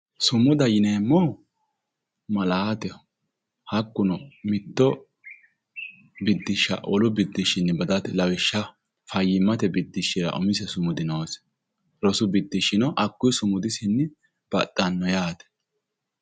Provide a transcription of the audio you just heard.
Sumuda yineemmohu malaateho hakkuno mitto bididshsha wolu biddishshiwiinni badate lawishshaho fayyimmate biddishshira umise sumudi noose rosu biddishshino hakukuyi biddishinni baxxanno yaate.